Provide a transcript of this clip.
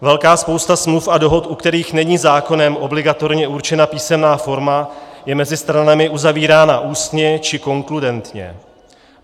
Velká spousta smluv a dohod, u kterých není zákonem obligatorně určena písemná forma, je mezi stranami uzavírána ústně či konkludentně.